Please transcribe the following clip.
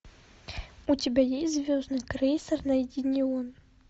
у тебя есть звездный крейсер найденион